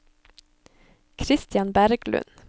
Christian Berglund